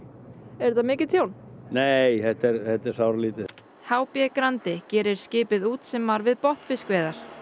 er þetta mikil tjón nei þetta er sáralítið h b Grandi gerir skipið út sem var við botnfiskveiðar